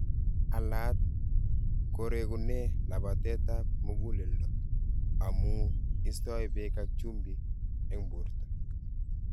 Alaat koregune labateet ap muguleldo amuu istoi beek ak chumbiik eng borto.